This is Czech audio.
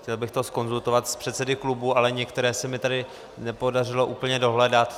Chtěl bych to zkonzultovat s předsedy klubů, ale některé se mi tady nepodařilo úplně dohledat.